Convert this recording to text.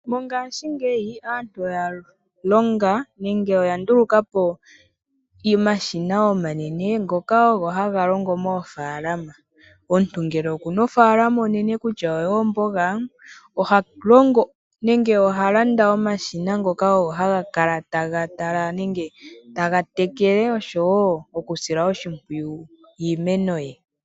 Mongashingeyi aantu oya longa nenge oya ndulukapo omashina omanene ngoka ogo haga longo moofalama. Omuntu ngele okuna ofalama onene kutya oyoomboga oha longo nenge oha landa omashina ngoka ogo haga kala taga tala nenge taga tekele oshowo oku sila oshimpwiyu iimeno ye.